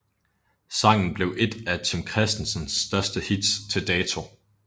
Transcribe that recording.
Sangen blev ét af Tim Christensens største hits til dato